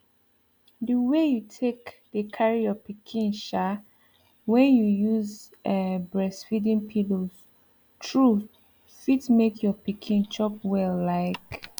the way you take dey carry your pikin um when you use um breastfeeding pillows truth fit make your pikin chop well like